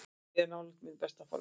Ég er nálægt mínu besta formi.